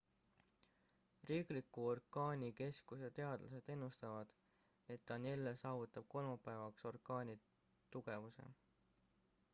riikliku orkaanikeskuse teadlased ennustavad et danielle saavutab kolmapäevaks orkaani tugevuse